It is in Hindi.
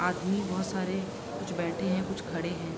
आदमी बहोत सारे कुछ बैठे हैं कुछ खड़े हैं।